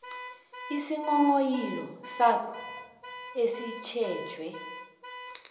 isinghonghoyilo sakho esitjhejwe